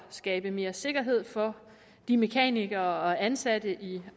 skabe mere sikkerhed for de mekanikere og ansatte i